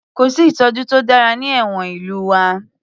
Kò sí ìtọ́jú to dára ní ẹ̀wọ̀n ìlú wa